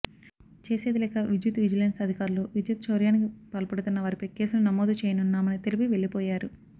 చేసేదిలేక విద్యుత్ విజిలెన్స్ అధికారులు విద్యుత్ చౌర్యానికి పాల్పడుతున్న వారిపై కేసులు నమోదు చేయనున్నామని తెలిపి వెళ్లిపోయారు